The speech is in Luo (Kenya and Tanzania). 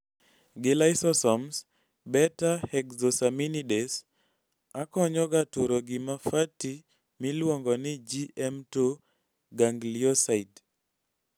gi lysosomes, beta hexosaminidase Akonyoga turo gima fatty miluongoni GM2 ganglioside